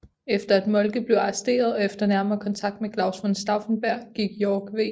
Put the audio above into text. Efter at Moltke blev arresteret og efter nærmere kontakt med Claus von Stauffenberg gik Yorck v